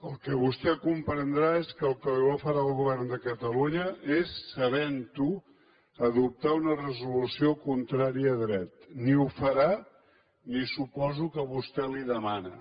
el que vostè comprendrà és que el que no farà el govern de catalunya és sabent ho adoptar una resolució contrària a dret ni ho farà ni suposo que vostè li ho demana